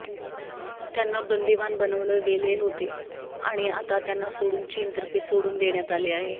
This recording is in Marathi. त्यांना बंदिवान बनवलं गेले होते आणि आता त्यांना सोडून चीन तर्फे सोडून देण्यात आले आहे